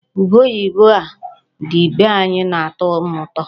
Ube oyibo a dị be anya na-atọ m ụtọ.